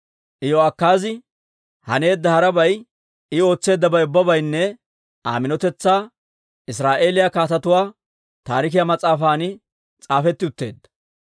Iyo'akaazi haneedda harabay, I ootseeddabay ubbaynne Aa minotetsaa Israa'eeliyaa Kaatetuwaa Taarikiyaa mas'aafan s'aafetti utteedda.